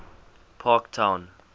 parktown